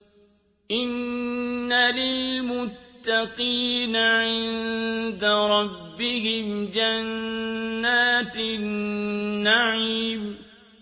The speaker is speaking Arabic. إِنَّ لِلْمُتَّقِينَ عِندَ رَبِّهِمْ جَنَّاتِ النَّعِيمِ